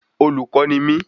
Olùkọ́ ni mí